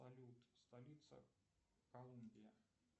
салют столица колумбия